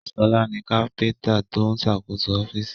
Ṣọlá ni kápíntà tó ń ṣàkóso ọ́fíìsì